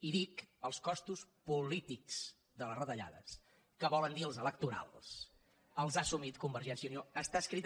i dic els costos polítics de les retallades que vol dir els electorals els ha assumit convergència i unió